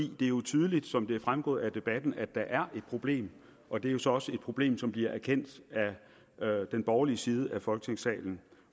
er jo tydeligt som det er fremgået af debatten at der er et problem og det er jo så også et problem som bliver erkendt af den borgerlige side af folketingssalen